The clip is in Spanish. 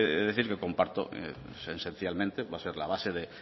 decir que comparto esencialmente va a ser la base de